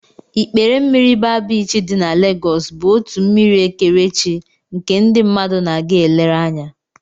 Ikpere mmiri baa biichi dị na Legos bụ otu mmiri ekerechi nke ndị mmadụ na-aga elere anya